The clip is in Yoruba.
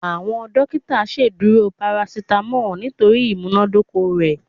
Awọn dokita ṣeduro paracetamol nitori imunadoko rẹ